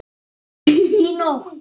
Í nótt?